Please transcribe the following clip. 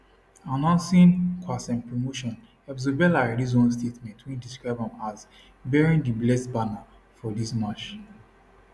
announcing qassem promotion hezbollah release one statement wey describe am as bearing di blessed banner for dis march